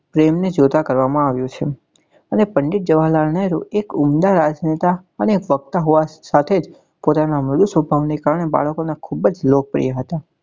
એમને જોતા કરવા માં આવ્યું છે અને પંડિત જવાહરલાલ નહેરુ એક ઊંડા અને વક્તા હોવા ને સાથે જ કારણે જ બાળકો નાં ખુબ જ લોકપ્રિય હતા.